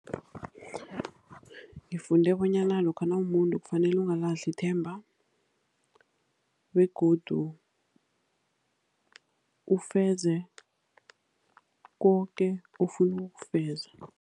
Ngifunde bonyana lokha nawumumuntu kufanele ungalahli ithemba begodu ufeze koke ofuna ukukufeza.